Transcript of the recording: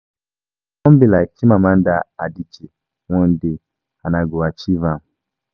I wan be like Chimamanda Adichie one day and I go achieve am